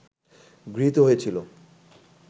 গৃহীত হয়েছিল